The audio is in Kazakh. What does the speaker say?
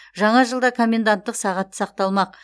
жаңа жылда коменданттық сағат сақталмақ